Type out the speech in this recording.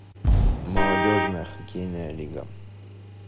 молодежная хоккейная лига